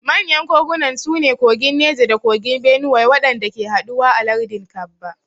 Manyan kogunan su ne kogin Neja da kogin Benuwai waɗanda ke haɗuwa a lardin Kabba.